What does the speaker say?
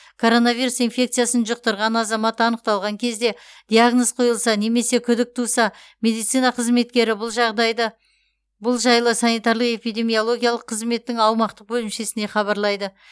коронавирус инфекциясын жұқтырған азамат анықталған кезде диагноз қойылса немесе күдік туса медицина қызметкері бұл жағдайды бұл жайлы санитарлық эпидемиологиялық қызметтің аумақтық бөлімшесіне хабарлайды